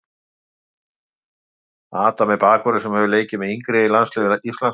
Adam er bakvörður sem leikið hefur með yngri landsliðum Íslands.